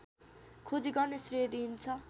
खोजी गर्ने श्रेय दिइन्छ